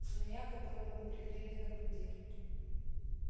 змея которую мы пригрели на груди